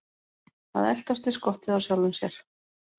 Að eltast við skottið á sjálfum sér